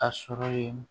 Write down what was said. A sɔrɔ ye